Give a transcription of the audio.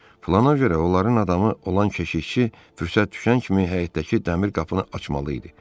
Plana görə onların adamı olan keşişçi fürsət düşən kimi həyətdəki dəmir qapını açmalı idi.